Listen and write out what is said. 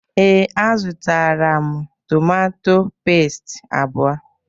Ee, a zụtara m tomatọ pẹ́stị abụọ.